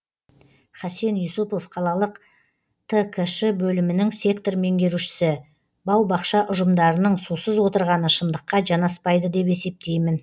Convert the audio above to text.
хасен юсупов қалалық ткш бөлімінің сектор меңгерушісі бау бақша ұжымдарының сусыз отырғаны шындыққа жанаспайды деп есептеймін